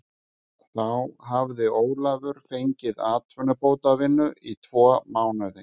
Þá hafði Ólafur fengið atvinnubótavinnu í tvo mánuði.